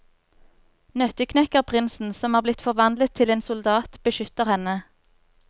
Nøtteknekkerprinsen, som er blitt forvandlet til en soldat, beskytter henne.